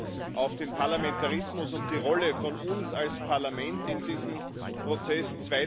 Erstens auf den Parlamentarismus und die Rolle von uns als Parlament in diesem Prozess.